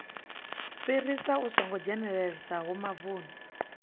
fhirisa i songo dzhenelelesaho mavuni